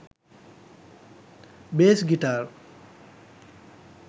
bas guitar